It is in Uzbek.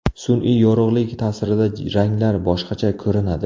Sun’iy yorug‘lik ta’sirida ranglar boshqacha ko‘rinadi.